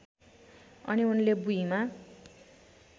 अनि उनले भुइँमा